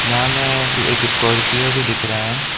यहां में एक स्कॉर्पियो भी दिख रहा है।